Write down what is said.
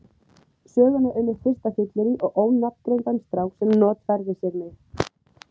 Söguna um mitt fyrsta fyllerí og ónafngreindan strák sem notfærði sér mig.